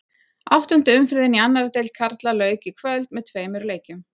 Áttundu umferðinni í annarri deild karla lauk í kvöld með tveimur leikjum.